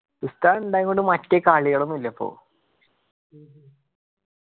ഉസ്താദ് ഇണ്ടായൊണ്ട് മറ്റേ കാളികളൊന്നില്ല ഇപ്പൊ